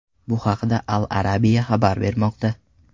Bu haqda Al-Arabia xabar bermoqda .